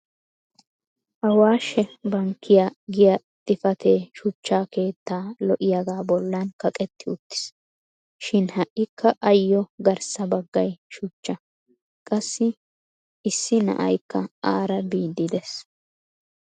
awashe bankkiya giya xifatee shucha keettaa lo'iyaga bolan kaqetti uttiis. shin ha'ikka ayoo garssa bagay shuchcha. qassi issi na'aykka aara biidi dees.